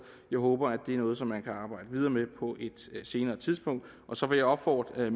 jeg håber det er noget som man kan arbejde videre med på et senere tidspunkt så vil jeg opfordre